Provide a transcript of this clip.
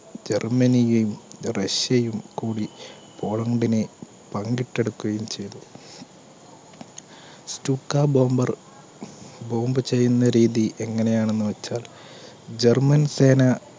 ജർമ്മനിയും, റഷ്യയും കൂടി പോളണ്ടിനെ പങ്കിട്ടെടുക്കുകയും ചെയ്തു. stuka bomber bomb ചെയ്യുന്ന രീതി എങ്ങനെയാണെന്ന് വെച്ചാൽ german സേന